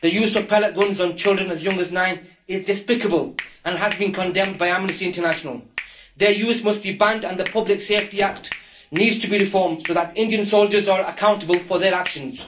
The use of pellet guns on children as young as nine is despicable and has been condemned by Amnesty International. Their use must be banned and the Public Safety Act needs to be reformed so that Indian soldiers are accountable for their actions.